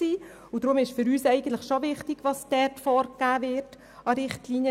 Deshalb ist für uns wichtig, was in den SKOS-Richtlinien vorgegeben ist.